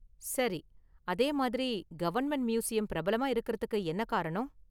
சரி, அதே மாதிரி கவர்மெண்ட் மியூசியம் பிரபலமா இருக்கிறதுக்கு என்ன காரணம்?